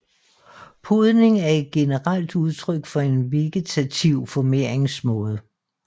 Podning er et generelt udtryk for en vegetativ formeringsmåde